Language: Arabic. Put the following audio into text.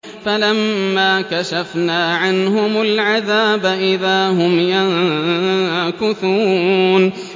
فَلَمَّا كَشَفْنَا عَنْهُمُ الْعَذَابَ إِذَا هُمْ يَنكُثُونَ